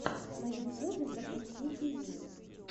на ютюбе запусти фильмы